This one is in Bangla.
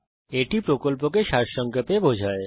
এটি কথ্য টিউটোরিয়াল প্রকল্পকে সংক্ষেপে বিবরণ করে